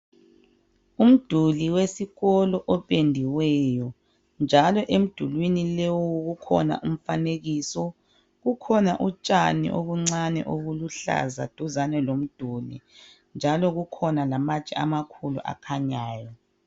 Umduli wesikolo opendiweyo njalo emidulini leyo kukhona umfanekiso kukhona utshani obuncane obuluhlaza duzane lomduli kukhona njalo kukhona lamatshe amakhulu akhanyayo.